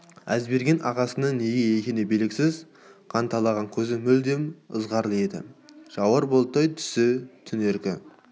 әзберген ағасының неге екені белгісіз қанталаған көзі мүлдем ызғарлы еді жауар бұлттай түсі түнеріңкі